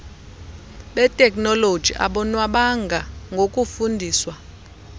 beteknoloji abonwabanga ngokufundiswa